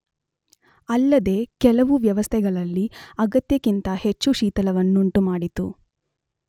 ಅಲ್ಲದೇ ಕೆಲವು ವ್ಯವಸ್ಥೆಗಳಲ್ಲಿ ಅಗತ್ಯಕ್ಕಿಂತ ಹೆಚ್ಚು ಶೀತಲವನ್ನುಂಟುಮಾಡಿತು.